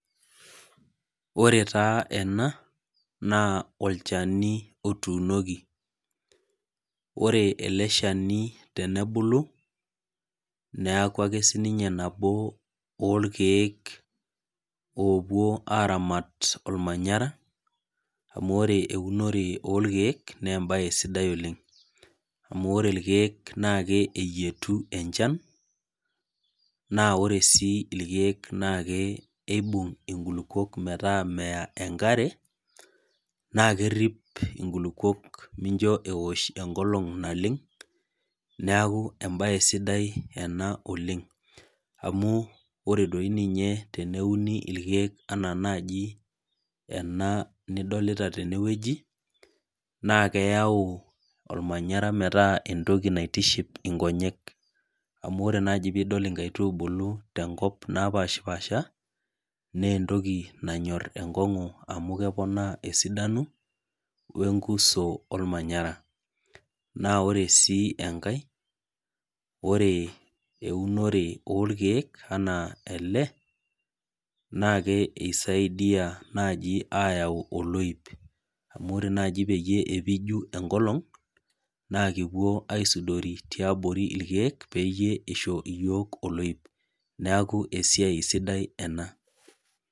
Ore taa ena naa olchani otuunoki. Ore ele shani tenebulu ,neeku ake siininye nabo orkeek opuo aramat ormanyera ,amu ore eunore orkeek naa embae sidai oleng. Amu ore irkeek naa keyieu enchan naa ore sii irkeek naa kibung enkulukuoni metaa meya enkare ,naa keripo nkulupuok nisho eosh enkolong naleng. neeku embae sidai ena oleng amu ore doi ninye teneuni irkeek ena naaji ena nidolita teneweji, naa keyau ormanyera meta entoki naitiship nkonyek amu ore naaji pee idol tenkop nkaitubulu naapashipasha naa entoki nanyor enkongu amu keponaa esidano wenkuso ormanyera. Naa ore sii enkae ,ore eunore orkeek enaa ele naa kisaidia naaji ayau oloip, amu ore naaji pee epiki enkolong naa ekiponu aisudori peyie eisho yiok oloip .Neeku esiai sidai ena.